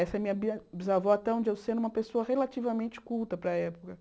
Essa é a minha bia bisavó, até onde eu sei era uma pessoa relativamente culta para a época.